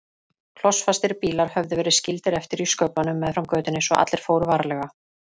Klossfastir bílar höfðu verið skildir eftir í sköflunum meðfram götunni svo allir fóru varlega.